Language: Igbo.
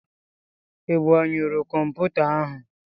Ị gbanyụru kọmputa ahụ?